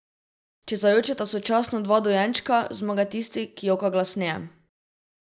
Če zajočeta sočasno dva dojenčka, zmaga tisti, ki joka glasneje.